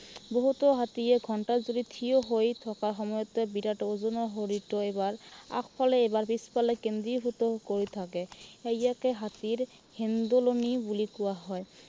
বহুতো হাতীয়ে ঘন্টা জুৰি ঠিয় হৈ থকা সময়তে বিৰাত ওজনৰ শৰীৰটো এবাৰ আগফালে এবাৰ পিছফালে কেন্দ্ৰীভূত কৰি থাকে। আৰু ইয়াকে হাতীৰ হেন্দুলনি বুলি কোৱা হয়।